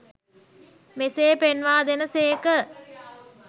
මෙසේ පෙන්වා දෙන සේක.